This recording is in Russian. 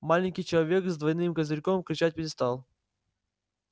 маленький человечек с двойным козырьком кричать перестал